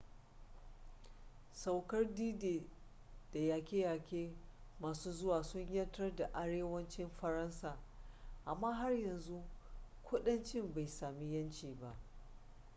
saukar d-day da yaƙe-yaƙe masu zuwa sun 'yantar da arewacin faransa amma har yanzu kudanci bai sami yanci ba